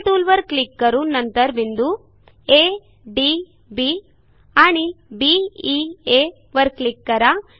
angle टूलवर click करून नंतर बिंदू आ डी बी आणि बी ई आ वर क्लिक करा